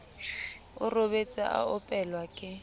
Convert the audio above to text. o robetse a opelwa ke